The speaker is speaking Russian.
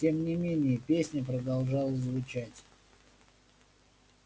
тем не менее песня продолжала звучать